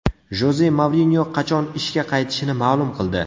Joze Mourinyo qachon ishga qaytishini ma’lum qildi.